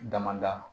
Damada